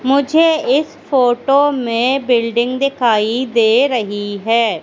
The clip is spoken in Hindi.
मुझे इस फोटो में बिल्डिंग दिखाई दे रहीं हैं।